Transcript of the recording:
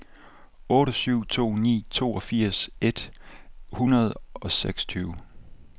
otte syv to ni toogfirs et hundrede og seksogtyve